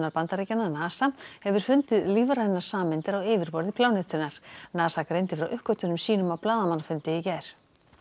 Bandaríkjanna NASA hefur fundið lífrænar sameindir á yfirborði plánetunnar NASA greindi frá uppgötvunum sínum á blaðamannafundi í gær